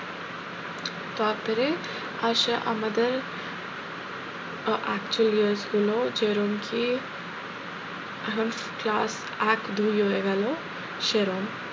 তারপরে আসে আমাদের আহ actual years গুলো যেরম কি এখন class এক দুই হয়ে গেল সেরম,